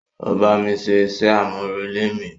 O bámi ṣé iṣẹ amurele mi.